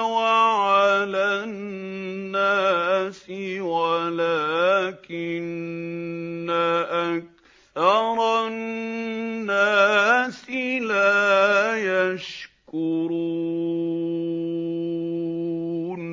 وَعَلَى النَّاسِ وَلَٰكِنَّ أَكْثَرَ النَّاسِ لَا يَشْكُرُونَ